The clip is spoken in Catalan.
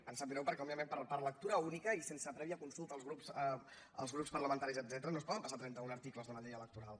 ens sap greu perquè òbviament per lectura única i sense prèvia consulta als grups parlamentaris etcète·ra no es poden passar trenta·un articles de la llei elec·toral